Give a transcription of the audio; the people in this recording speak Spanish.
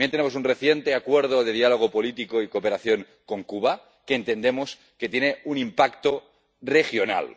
también tenemos un reciente acuerdo de diálogo político y cooperación con Cuba, que entendemos que tiene un impacto regional.